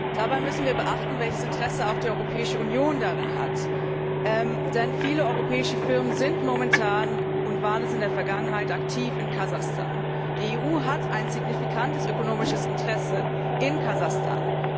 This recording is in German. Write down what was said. Dabei müssen wir beachten, welches Interesse auch die Europäische Union in diesem Land hat, denn viele europäische Firmen sind momentan und waren es in der Vergangenheit in Kasachstan aktiv. Die EU hat ein signifikantes ökonomisches Interesse in Kasachstan.